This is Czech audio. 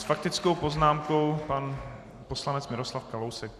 S faktickou poznámkou pan poslanec Miroslav Kalousek.